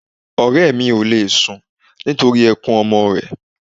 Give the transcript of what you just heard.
Ọ̀rẹ́ mi òle sun nítorí ẹkun ọmọ rẹ̀